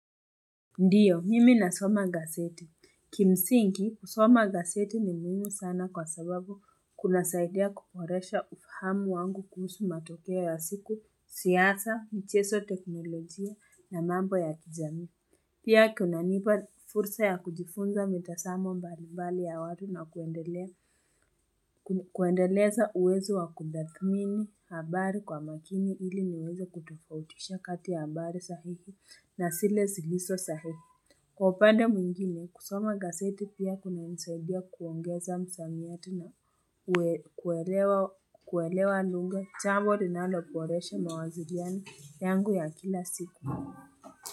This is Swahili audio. Ndiyo, mimi na soma gazeti. Kimsingi, soma gazeti ni muhimi sana kwa sababu kuna saidia kuboresha ufahamu wangu kuhusu matokea ya siku, siasa, mcheso teknolojia na mambo ya kijamii. Pia kuna nipa fursa ya kujifunza mitasamo mbalimbali ya watu na kuendeleza uwezo wa kutathmini habari kwa makini ili niweze kutofautisha kati ya habari sahihi na sile siliso sahihi. Kwa upande mwingine, kusoma gaseti pia kuna nsaidia kuongeza msamiati na kuelewa lugha chambo linaloporesha mawaziliani yangu ya kila siku.